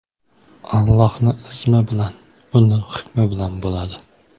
Allohni izmi bilan, uni hukmi bilan bo‘ladi.